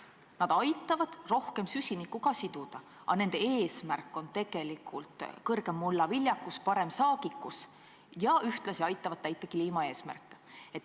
Need aitavad ka rohkem süsinikku siduda, aga nende eesmärk on suurem mullaviljakus ja parem saagikus ning ühtlasi aitavad nad täita kliimaeesmärke.